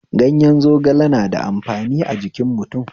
Gayen zogale na da amfani a jikin mutum